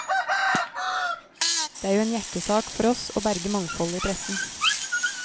Det er jo en hjertesak for oss å berge mangfoldet i pressen.